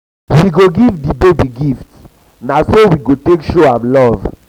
we go give di baby gifts na so we go take show am love.